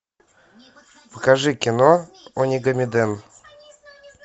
покажи кино онигамиден